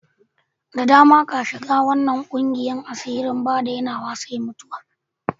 Da dama ka shiga wanan ƙungiyan asiri, ba dainawa sai mutuwa.